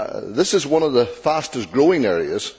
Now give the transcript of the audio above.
This is one of the fastest growing areas.